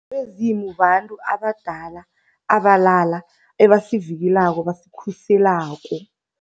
Abezimu babantu abadala, abalala abasivikela, abasikhuselako.